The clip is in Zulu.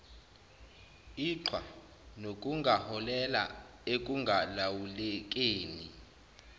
iqhwa nokungaholela ekungalawulekeni